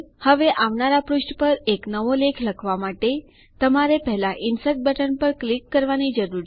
હવે આવનારા પુષ્ઠ પર એક નવો લેખ લખવા માટે તમારે પહેલા ઇન્સર્ટ બટન પર ક્લિક કરવાની જરૂર છે